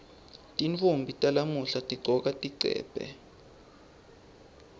tintfombi talamuhla tigcoka tigcebhe